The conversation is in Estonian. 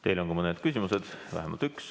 Teile on ka mõni küsimus, vähemalt üks.